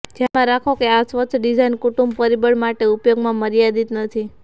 ધ્યાનમાં રાખો કે આ સ્વચ્છ ડિઝાઇન કુટુંબ પરિબળ માટે ઉપયોગમાં મર્યાદિત નથી